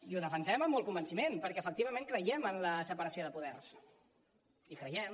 i ho defensem amb molt convenciment perquè efectivament creiem en la separació de poders hi creiem